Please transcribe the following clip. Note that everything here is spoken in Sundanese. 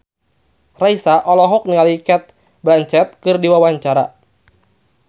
Raisa olohok ningali Cate Blanchett keur diwawancara